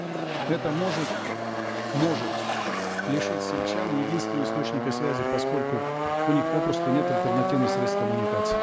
это может может лишить сельчан единственного источника связи поскольку у них попросту нет альтернативных средств коммуникации